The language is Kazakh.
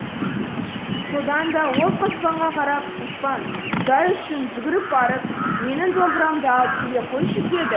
содан да ол қоспанға қарап қоспан құдай үшін жүгіріп барып менің домбырамды алып келе қойшы деді